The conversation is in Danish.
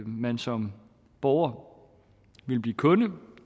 man som borger vil blive kunde